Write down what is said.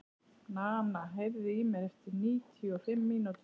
Nana, heyrðu í mér eftir níutíu og fimm mínútur.